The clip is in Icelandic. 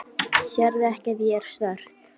Sérðu ekki að ég er svört?